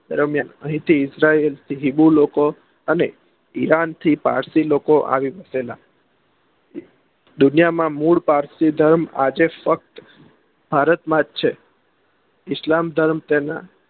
દરમિયાન ઇજ્રાઇલ એ હિંદુ લોકો અને ઈરાનથી પારસી લોકો આવી વસેલા દુનિયામાં મૂળ પારસી ધર્મ આજે ભારતમાં જ છે ઇસ્લામ ધર્મ તેના